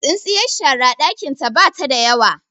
tsintsiyar shara dakin ta bata da yawa